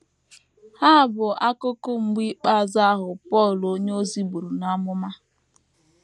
Ha bụ akụkụ “ mgbe ikpeazụ ” ahụ Pọl onyeozi buru n’amụma.